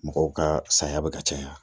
Mɔgɔw ka saya bɛ ka caya